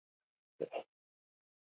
Það er hans leikur.